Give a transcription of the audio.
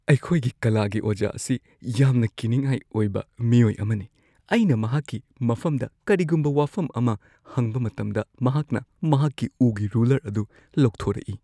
ꯑꯩꯈꯣꯏꯒꯤ ꯀꯂꯥꯒꯤ ꯑꯣꯖꯥ ꯑꯁꯤ ꯌꯥꯝꯅ ꯀꯤꯅꯤꯡꯉꯥꯏ ꯑꯣꯏꯕ ꯃꯤꯑꯣꯏ ꯑꯃꯅꯤ꯫ ꯑꯩꯅ ꯃꯍꯥꯛꯀꯤ ꯃꯐꯝꯗ ꯀꯔꯤꯒꯨꯝꯕ ꯋꯥꯐꯝ ꯑꯃ ꯍꯪꯕ ꯃꯇꯝꯗ ꯃꯍꯥꯛꯅ ꯃꯍꯥꯛꯀꯤ ꯎꯒꯤ ꯔꯨꯂꯔ ꯑꯗꯨ ꯂꯧꯊꯣꯔꯛꯏ꯫